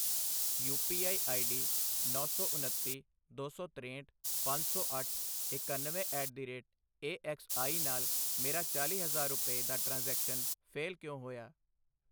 you P I I D ਨੌਂ ਸੌ ਉੱਨਤੀ, ਦੋ ਸੌ ਤਰੇਹਠ, ਪੰਜ ਸੌ ਅੱਠ, ਇਕਨਵੇਂ at the rate A X I ਨਾਲ ਮੇਰਾ ਚਾਲ਼ੀ ਹਜ਼ਾਰ ਰੁਪਏ, ਦਾ ਟ੍ਰਾਂਜ਼ੈਕਸ਼ਨ ਫੇਲ ਕਿਉਂ ਹੋਇਆ